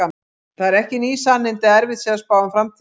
Það eru ekki ný sannindi að erfitt sé að spá um framtíðina.